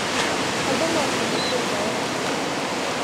Andũ no ta mũkũnga wa mbura.